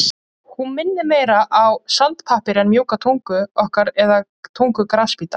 Hún minnir meira á sandpappír en mjúka tungu okkar eða tungu grasbíta.